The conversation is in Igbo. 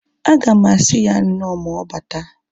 Aga m asị ya nnọọ ma ọbata